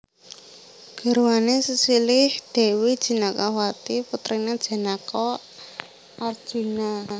Garwané sesilih Dèwi Jenakawati putriné Janaka/Arjuna